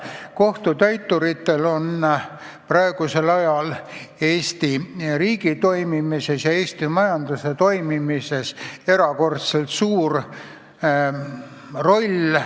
Kohtutäituritel on praegusel ajal Eesti riigi ja Eesti majanduse toimimises erakordselt suur roll.